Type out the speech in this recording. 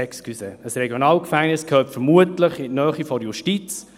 «Excusez», ein RG gehört vermutlich in die Nähe der Justiz.